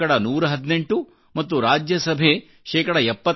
118 ಮತ್ತುರಾಜ್ಯಸಭೆ ಉತ್ಪಾದಕತೆ ಶೇ